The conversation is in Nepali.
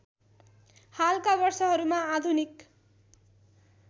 हालका वर्षहरूमा आधुनिक